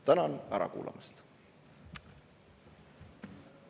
Tänan ära kuulamast!